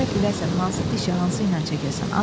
Gərək biləsən hansı dişi, hansı ilə çəkəsən.